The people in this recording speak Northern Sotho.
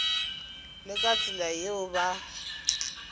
le ka tsela yeo ba